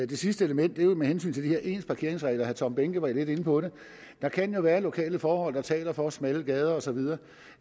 det sidste element er jo med hensyn til de her ens parkeringsregler herre tom behnke var lidt inde på det der kan jo være lokale forhold der taler for smalle gader og så videre